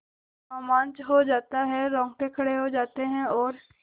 रोमांच हो आता है रोंगटे खड़े हो जाते हैं और